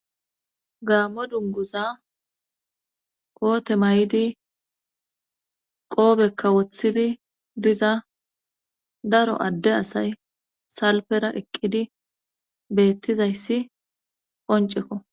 Gaammo dungguza keete mayidi qoobekka wothidi diza daro adde asay salfera eqqizi beettizayssi qoncceko.